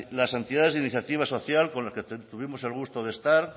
las entidades de iniciativa social con las que tuvimos el gusto de estar